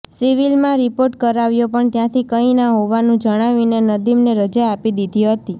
સિવીલમાં report કરાવ્યો પણ ત્યાંથી કાઈ ના હોવાનું જણાવીને નદીમને રજા આપી દીધી હતી